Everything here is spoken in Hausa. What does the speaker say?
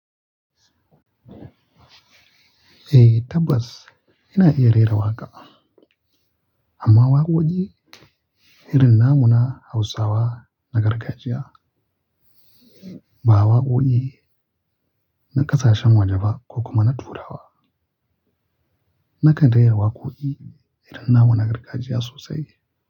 Eh tabbas ina iya rera waƙa, amma waƙoƙi irin na muna Hausawa na gargajiya, ba waƙoƙi na ƙasashen waje ba ko kuma na Turawa. Nakan rera waƙoƙi irin namu na gargajiya sosai.